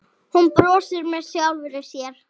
Hún brosir með sjálfri sér.